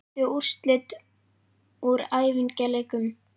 Veistu úrslit úr æfingaleikjum?